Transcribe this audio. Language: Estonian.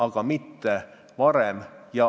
Aga mitte varem.